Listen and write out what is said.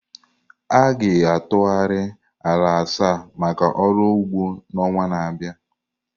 A ga-atụgharị ala asaa maka ọrụ ugbo n'ọnwa na-abịa.